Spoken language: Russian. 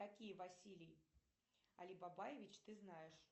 какие василий алибабаевич ты знаешь